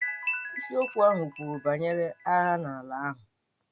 Isiokwu ahụ kwuru banyere agha n'ala ahụ.